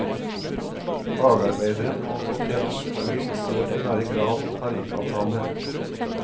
Fagarbeideren må få tett oppfølging og det bør være krav om tariffavtale.